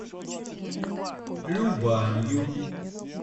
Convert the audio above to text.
любанью